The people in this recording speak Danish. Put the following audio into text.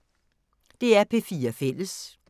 DR P4 Fælles